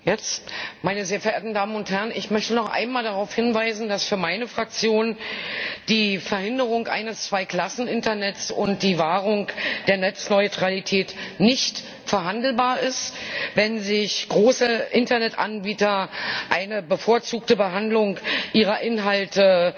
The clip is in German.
Herr Präsident, meine sehr verehrten Damen und Herren! Ich möchte noch einmal darauf hinweisen, dass für meine Fraktion die Verhinderung eines Zwei Klassen Internets und die Wahrung der Netzneutralität nicht verhandelbar sind. Wenn sich große Internetanbieter eine bevorzugte Behandlung ihrer Inhalte